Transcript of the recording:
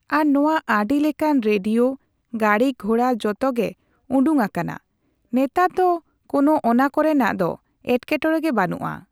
ᱟᱨ ᱱᱚᱣᱟ ᱟᱹᱰᱤ ᱞᱮᱠᱟᱱ ᱨᱮᱰᱤᱭᱳ, ᱜᱟᱲᱤᱼᱜᱷᱳᱲᱟ ᱡᱚᱛᱚ ᱜᱮ ᱩᱰᱩᱝᱟᱠᱟᱱᱟ᱾ ᱱᱮᱛᱟᱨ ᱫᱚ ᱠᱳᱳ ᱚᱱᱟ ᱠᱚᱨᱮᱱᱟᱜ ᱫᱚ ᱮᱴᱠᱮᱴᱚᱲᱮ ᱜᱮ ᱵᱟᱱᱩᱜᱼᱟ᱾